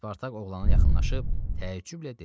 Spartak oğlanı yaxınlaşıb təəccüblə dedi: